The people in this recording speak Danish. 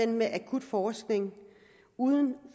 med akut forskning uden